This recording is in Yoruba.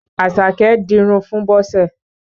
Àṣàké dinrun fún Bọ́sẹ̀